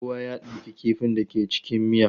Kada kowa ya ɗauki kifin da ke cikin miya.